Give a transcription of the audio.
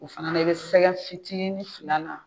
O fana na i bɛ sɛgɛ fitiinin fil'a la.